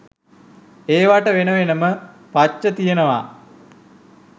ඒවට වෙන වෙනම පච්ච තියෙනවා.